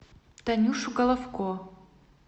танюшу головко